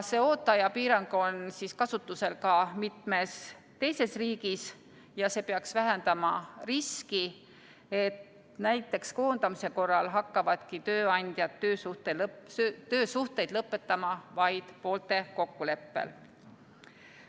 See ooteaja piirang on kasutusel ka mitmes teises riigis ja see peaks vähendama riski, et näiteks koondamise korral hakkavadki tööandjad töösuhteid lõpetama vaid poolte kokkuleppel.